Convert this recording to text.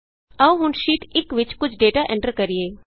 ਆਉ ਹੁਣ ਸ਼ੀਟ 1ਵਿਚ ਕੁਝ ਡੇਟਾ ਐਂਟਰ ਕਰੀਏ